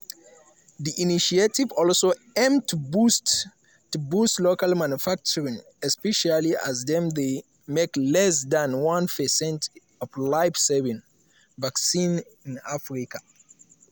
di initiative also aim to boost to boost local manufacturing especially as dem dey make less dan one percent of life-saving vaccines in africa.